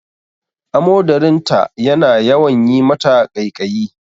Amodarin ta yana yawan yi mata ƙaiƙaiyi